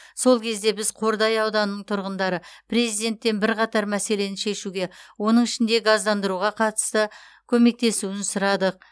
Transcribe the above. сол кезде біз қордай ауданың тұрғындары президенттен бірқатар мәселені шешуге оның ішінде газдандыруға қатысты көмектесуін сұрадық